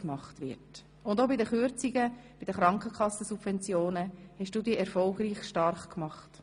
Auch gegen die Kürzungen der Krankenkassensubventionen hast du dich erfolgreich stark gemacht.